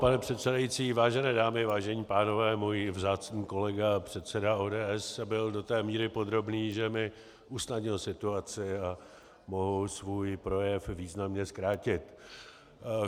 Pane předsedající, vážené dámy, vážení pánové, můj vzácný kolega předseda ODS byl do té míry podrobný, že mi usnadnil situaci a mohu svůj projev významně zkrátit.